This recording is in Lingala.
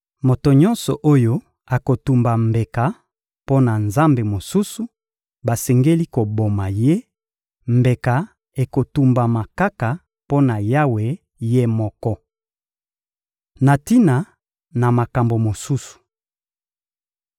Moto nyonso oyo akotumba mbeka mpo na nzambe mosusu, basengeli koboma ye; mbeka ekotumbama kaka mpo na Yawe Ye moko. Na tina na makambo mosusu